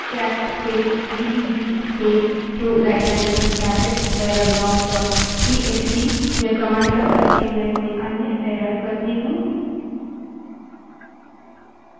अब मानिए कि cat space bbb space two right angled bracket error log dot TXT cat space bbb space 2 rightangled bracket errorlog txt यह command now करके मैं कोई अन्य error करती हूँ